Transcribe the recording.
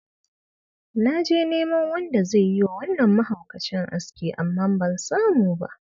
Na je neman wanda zai yi wa wannan mahaukacin aski amma ban samu ba.